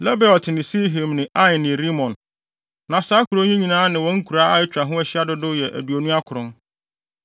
Lebaot ne Silhim ne Ain ne Rimon. Na saa nkurow yi nyinaa ne wɔn nkuraa a atwa ho ahyia dodow yɛ aduonu akron.